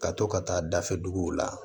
Ka to ka taa dafɛ duguw la